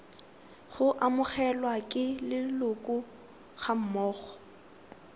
go amogelwa ke leloko gammogo